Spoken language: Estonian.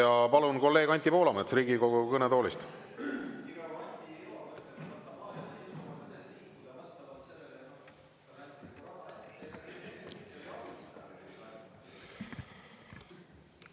Ja palun, kolleeg Anti Poolamets, Riigikogu kõnetoolist!